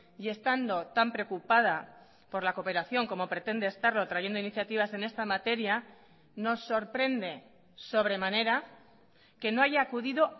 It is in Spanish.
y estando tan preocupada por la cooperación como pretende estarlo trayendo iniciativas en esta materia nos sorprende sobremanera que no haya acudido